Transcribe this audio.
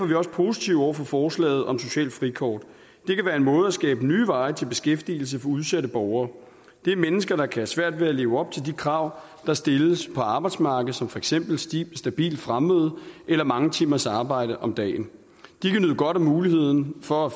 vi også positive over for forslaget om socialt frikort det kan være en måde at skabe nye veje til beskæftigelse på for udsatte borgere det er mennesker der kan have svært ved at leve op til de krav der stilles på arbejdsmarkedet som for eksempel stabilt fremmøde eller mange timers arbejde om dagen de kan nyde godt af muligheden for at